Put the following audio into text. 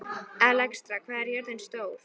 Alexstrasa, hvað er jörðin stór?